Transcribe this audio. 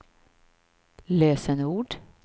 lösenord